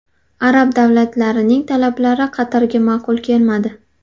Arab davlatlarining talablari Qatarga ma’qul kelmadi.